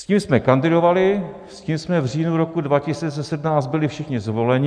S tím jsme kandidovali, s tím jsme v říjnu roku 2017 byli všichni zvoleni.